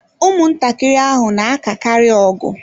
Ụmụntakịrị ahụ na-akakarị ọgụ